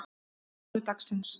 mánudagsins